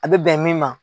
A bɛ bɛn min ma